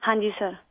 ہاں جی سر